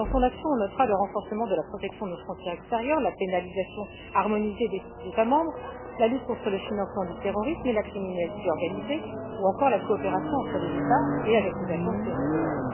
Dans son action, on notera le renforcement de la protection de nos frontières extérieures, l'harmonisation de la criminalisation entre les États membres, la lutte contre le financement du terrorisme et la criminalité organisée, ou encore la coopération entre les États et avec les agences européennes.